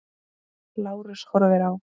Lárus horfir á.